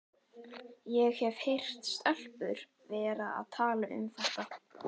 Ég hef heyrt stelpur vera að tala um þetta.